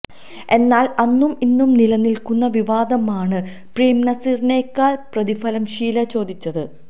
എന്നാൽ അന്നും ഇന്നും നിലനിൽക്കുന്ന വിവാദമാണ് പ്രേം നസീറിനേക്കാൾ പ്രതിഫലം ഷീല ചോദിച്ചത്